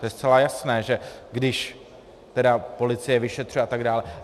To je zcela jasné, že když tedy policie vyšetřuje a tak dále...